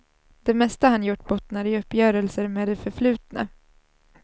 Det mesta han gjort bottnar i uppgörelser med det förflutna.